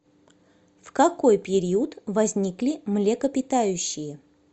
в какой период возникли млекопитающие